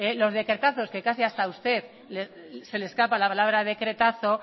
los decretazos que casi hasta usted se le escapa la palabra el decretazo